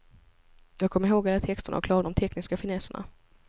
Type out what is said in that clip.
Jag kom ihåg alla texterna och klarade de tekniska finesserna.